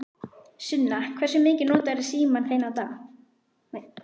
Sunna: Hversu mikið notarðu símann þinn á dag?